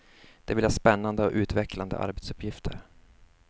De vill ha spännande och utvecklande arbetsuppgifter.